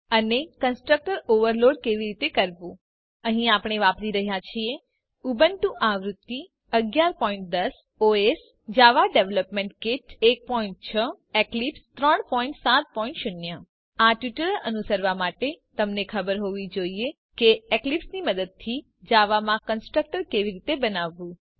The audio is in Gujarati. અને કન્સ્ટ્રક્ટર ઓવરલોડ કેવી રીતે કરવું અહીં આપણે વાપરી રહ્યા છીએ ઉબુન્ટુ આવૃત્તિ 1110 OS Java development kit 16 Eclipse 370 આ ટ્યુટોરીયલ અનુસરવા માટે તમને ખબર હોવી જોઈએ કે એક્લીપ્સની મદદથી જાવામાં કન્સ્ટ્રકટર કેવી રીતે બનાવવું